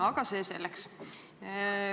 Aga see selleks.